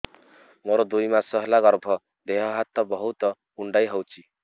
ମୋର ଦୁଇ ମାସ ହେଲା ଗର୍ଭ ଦେହ ହାତ ବହୁତ କୁଣ୍ଡାଇ ହଉଚି